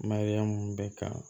Mariyamu bɛ ka